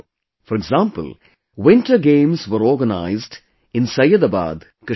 For example, Winter Games were organized in Syedabad, Kashmir